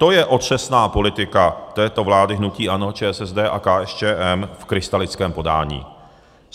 To je otřesná politika této vlády hnutí ANO, ČSSD a KSČM v krystalickém podání.